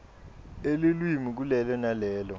elulwimi kulelo nalelo